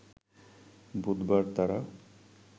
বুধবার তারা